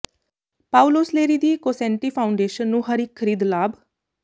Paulo Soleri ਦੀ Cosanti foundation ਨੂੰ ਹਰ ਇਕ ਖਰੀਦ ਲਾਭ